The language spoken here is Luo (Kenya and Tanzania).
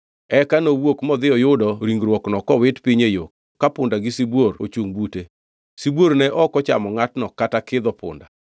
Eka nowuok modhi oyudo ringruokno kowit piny e yo ka punda gi sibuor ochungʼ bute. Sibuor ne ok ochamo ngʼatno kata kidho punda.